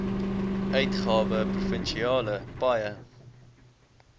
uitgawe provinsiale paaie